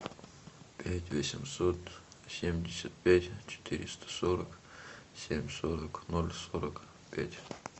пять восемьсот семьдесят пять четыреста сорок семь сорок ноль сорок пять